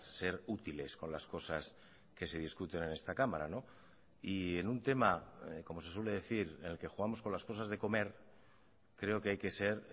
ser útiles con las cosas que se discuten en esta cámara y en un tema como se suele decir en el que jugamos con las cosas de comer creo que hay que ser